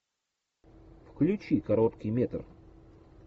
включи короткий метр